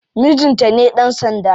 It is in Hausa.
Mijinta ne dan sanda.